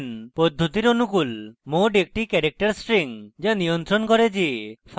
mode একটি character string যা নিয়ন্ত্রণ করে যে file নিম্নের জন্য খোলে হয়েছে কিনা: